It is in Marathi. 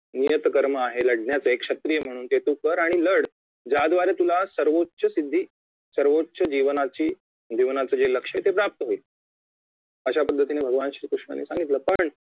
नियत कर्म आहे लढण्याचे एक क्षत्रिय म्हणून जे तू कर आणि लढ ज्याद्वारे तुला सर्वोच्च सिद्धी सर्वोच्च जीवनाची जीवनाचे जे लक्ष्य प्राप्त होईल अशा पद्धतीने भगवान श्री कृष्णांनी सांगितलं पण